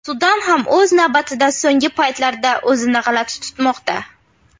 Sudan ham o‘z navbatida so‘nggi paytlarda o‘zini g‘alati tutmoqda.